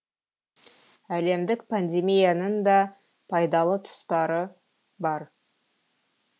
әлемдік пандемияның да пайдалы тұстары бар